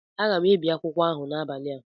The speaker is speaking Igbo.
Aga m ebi akwụkwọ ahụ n'abalị a